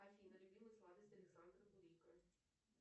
афина любимая сладость александр бурико